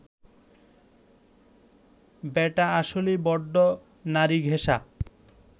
ব্যাটা আসলেই বড্ড নারীঘেঁষা